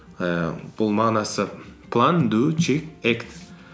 ііі бұл мағынасы план ду чек акт